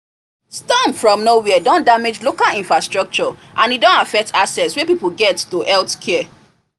storm from nowhere don damage local infrastructure and e don affect access wey people get to healthcare